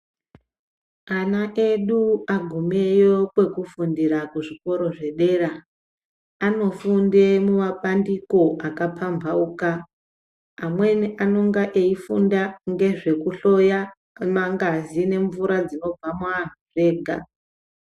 Ana edu aguma kwekufundira kuzvikora zvedera anofunda mumabandiko akapambauka. Amweni anenge eyifunda nezvekuhloya ngazi nemvura dzimobva muanhu zvega.